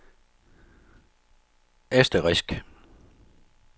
asterisk